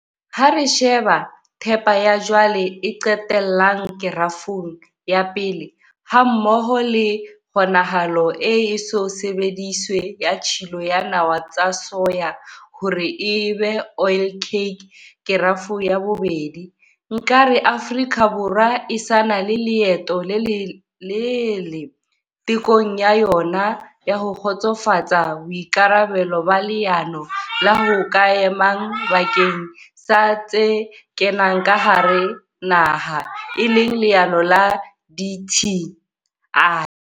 Ha re sheba thepa ya jwale e qetellang, Kerafong ya 1, hammoho le kgonahalo e eso sebediswe ya tshilo ya nawa tsa soya hore e be oilcake, Kerafo ya 2, nka re Afrika Borwa e sa na le leeto le lelelele tekong ya yona ya ho kgotsofatsa boikarabelo ba leano la ho ka emang bakeng sa tse kenang ka hara naha, e leng leano la Dti.